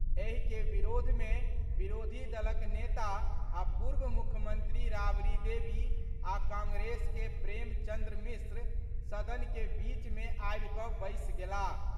एहि के विरोध मे विरोधी दलक नेता आ पूर्व मुख्यमंत्री राबड़ी देवी आ कांग्रेस के प्रेमचन्द्र मिश्र सदन के बीच मे आबि कऽ बैसि गेलाह।